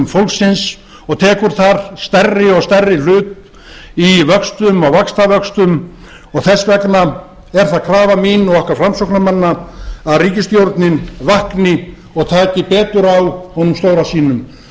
fólksins og tekur þar stærri og stærri hlut í vöxtum og vaxtavöxtum og þess vegna er það krafa mín og okkar framsóknarmanna að ríkisstjórnin vakni og taki betur á honum stóra sínum